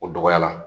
O dɔgɔya la